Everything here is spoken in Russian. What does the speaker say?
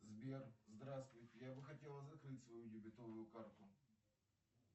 сбер здравствуйте я бы хотела закрыть свою дебетовую карту